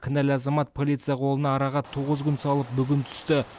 кінәлі азамат полиция қолына араға тоғыз күн салып бүгін түсті